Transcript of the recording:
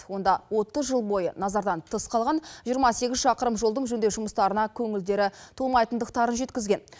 онда отыз жыл бойы назардан тыс қалған жиырма сегіз шақырым жолдың жөндеу жұмыстарына көңілдері толмайтындықтарын жеткізген